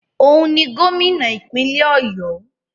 Òun ni Gómìnà ìpínlẹ̀ ọ̀yọ́.